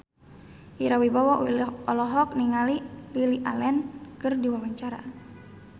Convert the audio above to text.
Ira Wibowo olohok ningali Lily Allen keur diwawancara